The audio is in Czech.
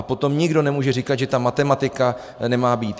A potom nikdo nemůže říkat, že ta matematika nemá být.